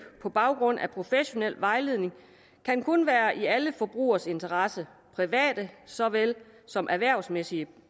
på baggrund af en professionel vejledning kan kun være i alle forbrugeres interesse private såvel som erhvervsmæssige